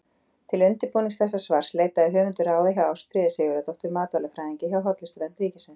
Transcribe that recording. Til undirbúnings þessa svars leitaði höfundur ráða hjá Ástfríði Sigurðardóttur matvælafræðingi hjá Hollustuvernd ríkisins.